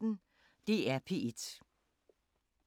DR P1